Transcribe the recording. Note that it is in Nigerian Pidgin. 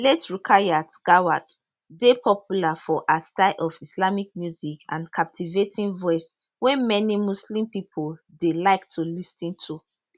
late rukayat gawat dey popular for her style of islamic music and captivating voice wey many muslim pipo dey like to lis ten to